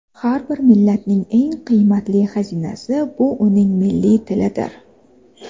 Har bir millatning eng qiymatli xazinasi bu uning milliy tilidir.